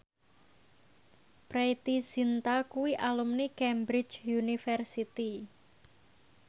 Preity Zinta kuwi alumni Cambridge University